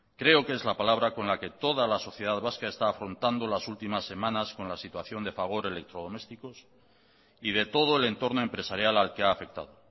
creo que es la palabra con la que toda la sociedad vasca está afrontando las últimas semanas con la situación de fagor electrodomésticos y de todo el entorno empresarial al que ha afectado